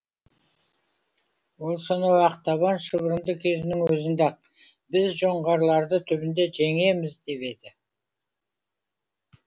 ол сонау ақтабан шұбырынды кезінің өзінде ақ біз жоңғарларды түбінде жеңеміз деп еді